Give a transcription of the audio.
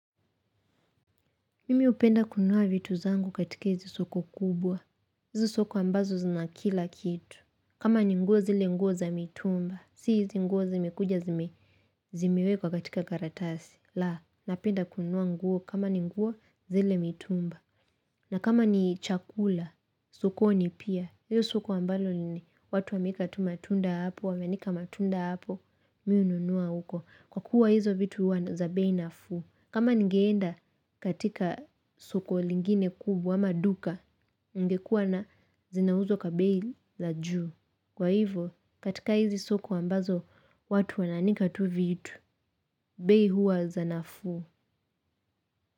Mimi hupenda kununua vitu zangu katika hizi soko kubwa. Hizi soko ambazo zinakilakitu. Kama ni nguo zile nguo za mitumba. Si hizi nguo zimekuja zimewekwa katika karatasi. La, napenda kununua nguo kama ni nguo zile mitumba. Na kama ni chakula, sokoni pia. Hiyo soko ambalo ni watu wameweka tu matunda hapo, wameanika matunda hapo. Mimi hununua huko. Kwa kuwa hizo vitu huwa za bei nafuu. Kama ningeenda katika soko lingine kubwa ama duka ngekua na zinauzwa kwa bei la juu, kwa hivyo katika hizi soko ambazo watu wanaanika tu vitu, bei hua za nafuu.